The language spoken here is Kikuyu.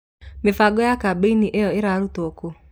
mĩbango ya kambĩini ĩyo ĩrarutwo kũ